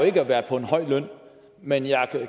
ikke været på en høj løn men jeg